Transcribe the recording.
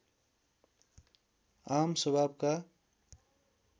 आम स्वभावका